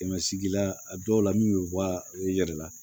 Kɛmɛ sigila a dɔw la min bɛ bɔ u yɛrɛ la